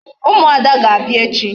Ụmụada ga-abịa echi.